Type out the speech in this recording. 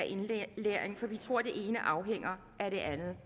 indlæring for vi tror at det ene afhænger af det andet